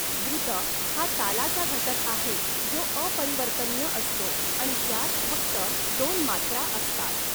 द्रुत हा तालाचा घटक आहे, जो अपरिवर्तनीय असतो आणि त्यात फक्त दोन मात्रा असतात.